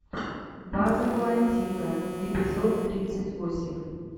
база куантико эпизод тридцать восемь